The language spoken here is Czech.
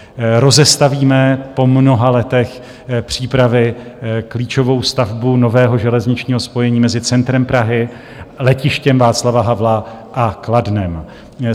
Rozestavíme po mnoha letech přípravy klíčovou stavbu nového železničního spojení mezi centrem Prahy, Letištěm Václava Havla a Kladnem.